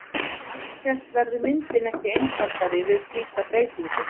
En alltént verður myndin ekki einfaldari við slíka breytingu!